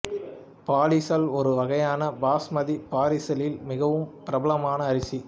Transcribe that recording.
பாலிசல் ஒரு வகையான பாஸ்மதி பாரிசலில் மிகவும் பிரபலமான அரிசி